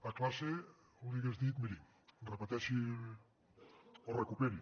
a classe li hagués dit miri repeteixi o recuperi